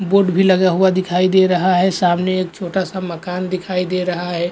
Board भी लगा हुआ दिखाई दे रहा है सामने एक छोटा सा मकान दिखाई दे रहा है।